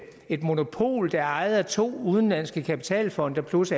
et monopol der er ejet af to udenlandske kapitalfonde plus